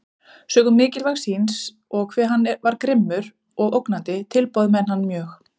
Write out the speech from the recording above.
Sökum mikilvægi síns, og hve hann var grimmur og ógnandi, tilbáðu menn hann mjög.